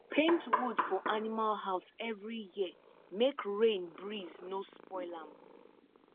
paint wood for animal house every year make rain breeze no spoil am